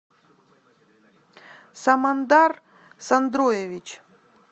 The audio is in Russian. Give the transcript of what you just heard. самандар сандроевич